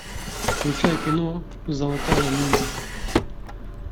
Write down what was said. включай кино золотая мина